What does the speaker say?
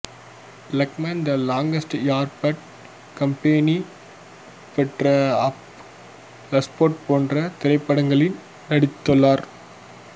dogma the longest yard bad company head of state போன்ற திரைப்படங்களில் நடித்துள்ளார்